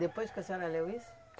Depois que a senhora leu isso?